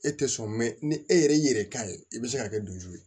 E tɛ sɔn mɛ ni e yɛrɛ y'i yɛrɛ k'a ye i bɛ se ka kɛ ye